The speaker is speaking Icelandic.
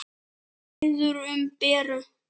Biður um Beru.